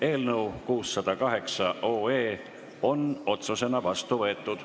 Eelnõu 608 on otsusena vastu võetud.